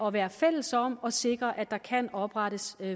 at være fælles om at sikre at der kan oprettes